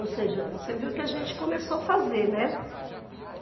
Ou seja, você viu que a gente começou a fazer, né?